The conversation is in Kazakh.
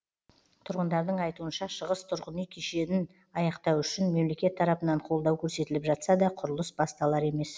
тұрғындардың айтуынша шығыс тұрғын үй кешешін аяқтау үшін мемлекет тарапынан қолдау көрсетіліп жатса да құрылыс басталар емес